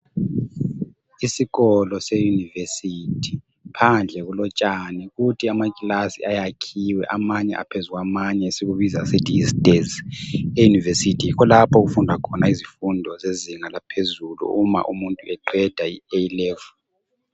Isikolo seYunivesithi phandle kulotshani kuthi amakilasi ayakhiwe amanye aphezu kwamanye esikubiza sisithi yi stairs. EYunivesithi yikho lapho okufunda khona izifundo zezinga laphezulu uma umuntu eqeda i-A level.